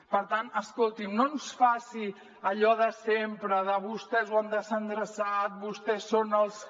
per tant escolti’m no ens faci allò de sempre de vostès ho han desendreçat vostès són els que